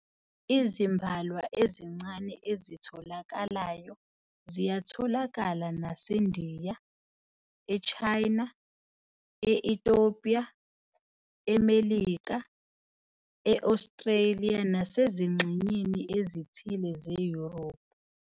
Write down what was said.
Izimbalwa ezincane ezitholakalayo ziyatholakala naseNdiya, eChina, e- Ethiopia, eMelika, e-Australia nasezingxenyeni ezithile zeYurophu.